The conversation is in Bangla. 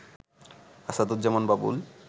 আসাদুজ্জামান বাবুল